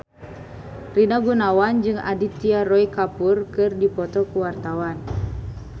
Rina Gunawan jeung Aditya Roy Kapoor keur dipoto ku wartawan